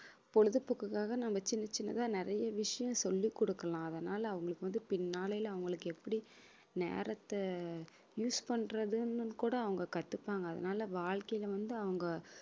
பொழுதுபோக்குக்காக நம்ம சின்ன சின்னதா நிறைய விஷயம் சொல்லி கொடுக்கலாம் அதனால அவங்களுக்கு வந்து பின்னாலே அவங்களுக்கு எப்படி நேரத்தை use பண்றதுன்னு கூட அவங்க கத்துப்பாங்க அதனாலே வாழ்க்கையிலே வந்து அவங்க